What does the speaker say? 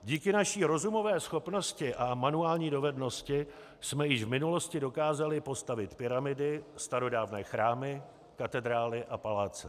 Díky naší rozumové schopnosti a manuální dovednosti jsme již v minulosti dokázali postavit pyramidy, starodávné chrámy, katedrály a paláce.